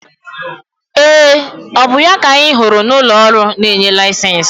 Ee! Ọ bụ ya ka anyị hụrụ n'ụlọ ọrụ na-enye laịsensị?